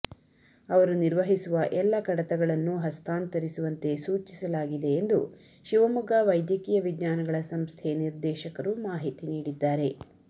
ಅವರು ನಿರ್ವಹಿಸುವ ಎಲ್ಲ ಕಡತನಗಳನ್ನು ಹಸ್ತಾಂತರಿಸುವಂತೆ ಸೂಚಿಸಲಾಗಿದೆ ಎಂದು ಶಿವಮೊಗ್ಗ ವೈದ್ಯಕೀಯ ವಿಜ್ಞಾನಗಳ ಸಂಸ್ಥೆ ನಿರ್ದೇಶಕರು ಮಾಹಿತಿ ನೀಡಿದ್ದಾರೆ